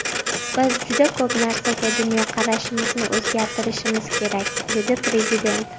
Biz juda ko‘p narsaga dunyoqarashimizni o‘zgartirishimiz kerak”, dedi Prezident.